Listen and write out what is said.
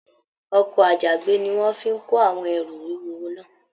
Ọkọ àjàgbé ní wọn fí kò àwọn ẹrú wúwo náà.